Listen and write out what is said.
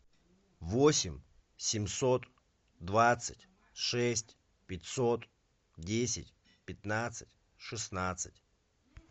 восемь семьсот двадцать шесть пятьсот десять пятнадцать шестнадцать